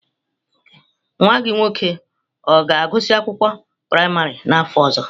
Nwa gị nwoke ọ ga-agụsị akwụkwọ praịmarị n'afọ ọzọ?